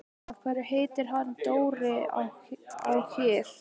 Af hverju heitir hann Dóri á Her?